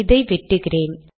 இதை வெட்டுகிறேன்